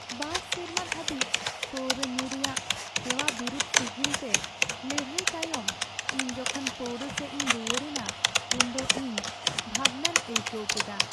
᱒ ᱥᱮᱨᱢᱟ ᱫᱷᱟᱹᱵᱤᱡ ᱯᱟᱹᱣᱨᱟᱹ ᱧᱩ ᱨᱮᱭᱟᱜ ᱦᱮᱣᱟ ᱵᱤᱨᱩᱫᱷ ᱥᱤᱜᱤᱞᱛᱮ ᱞᱟᱹᱲᱦᱟᱹᱭ ᱛᱟᱭᱚᱢ ᱤᱧ ᱡᱚᱠᱷᱚᱱ ᱯᱟᱹᱣᱨᱟᱹ ᱥᱮᱡ ᱤᱧ ᱨᱩᱣᱟᱹᱲ ᱮᱱᱟ ᱩᱱᱫᱚ ᱤᱧ ᱵᱷᱟᱵᱱᱟᱧ ᱟᱹᱭᱠᱟᱹᱣ ᱠᱮᱫᱟ ᱾